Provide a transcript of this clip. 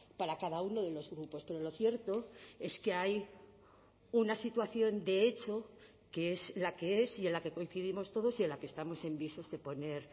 para cada uno de los grupos pero lo cierto es que hay una situación de hecho que es la que es y en la que coincidimos todos y a la que estamos en visos de poner